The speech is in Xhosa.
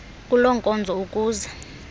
kuloo nkonzo ukuze